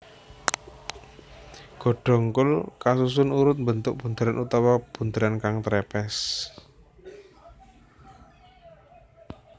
Godhong kul kasusun urut mbentuk bunderan utawa bunderan kan trepes